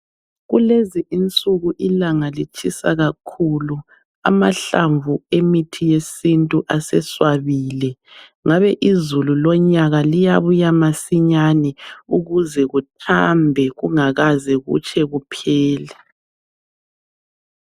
Kulezi insuku ilanga litshisa kakhulu. Amahlamvu emithi yesintu aseswabile. Ngabe izulu lonyaka liyabuya masinyane ukuze kuthambe kungakaze kutshe kuphele.